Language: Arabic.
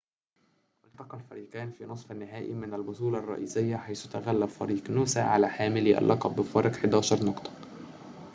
التقى الفريقان في نصف النهائي من البطولة الرئيسية حيث تغلّب فريق نوسا على حاملي اللقب بفارق 11 نقطة